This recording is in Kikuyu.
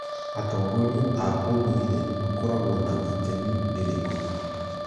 Atongoria a ũndũire makoragwo na itemi rĩrĩkũ